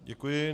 Děkuji.